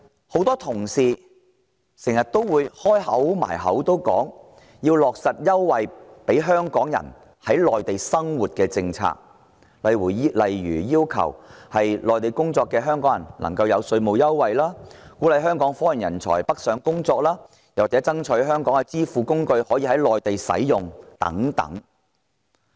很多同事經常掛在嘴邊，說要落實各項利便香港人在內地生活的優惠政策，例如要求給予在內地工作的香港人稅務優惠，鼓勵香港科研人才北上工作，或爭取香港的支付工具可以在內地使用等。